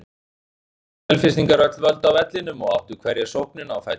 Nú tóku Selfyssingar öll völd á vellinum og áttu hverja sóknina á fætur annarri.